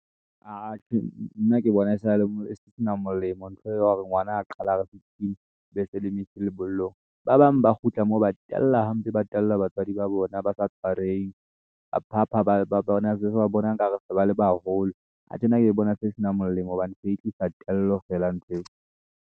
Atjhe, nna ke bona e sena molemo ntho e o ya hore ngwana a qala a re sixteen be se lemo isa lebollong ba bang ba kgutla moo ba tella hampe, ba tella batswadi ba bona ba sa tshwarehe ba phapha se ba bona nkare se ba le baholo atjhe, nna ke bona se e sena molemo hobane se e tlisa tello feela nthweo.